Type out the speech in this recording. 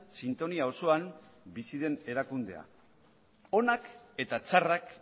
sintonia osoan bizi den erakundea onak eta txarrak